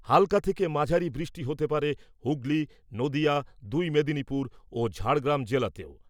হাল্কা থেকে মাঝারি বৃষ্টি হতে পারে হুগলী , নদীয়া , দুই মেদিনীপুর ও ঝাড়গ্রাম জেলাতেও ।